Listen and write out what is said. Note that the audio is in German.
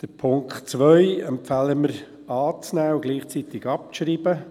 Den Punkt 2 empfehlen wir zur Annahme und gleichzeitig zur Abschreibung.